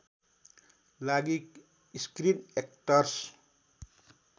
लागि screen actors